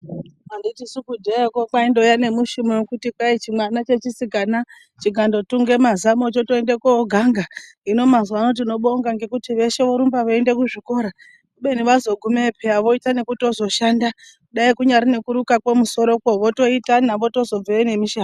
Anditisu kudhayakwo kwaindoya nemushumo wekuti chimwana chechisikana chikandotunge mazamo chotoende kooganga. Hino mazuwa ano tinobonga ngekuti veshe vorumba veiyende kuzvikora kubeni vazogumeyo pheya voite nekuzoshanda dai kunyari nekurukakwo musoroko votoitana votozotobveyo nemishando.